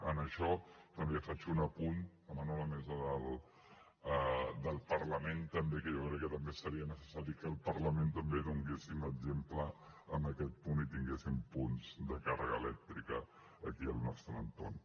en això també faig un apunt demano a la mesa del parlament també que jo crec que també seria necessari que al parlament també donéssim exemple en aquest punt i tinguéssim punts de càrrega elèctrica aquí al nostre entorn